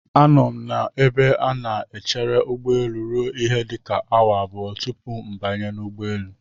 Anọ m n'ebe a na-echere ụgbọelu ruo ihe dịka awa abụọ tupu m banye n'ụgbọelu.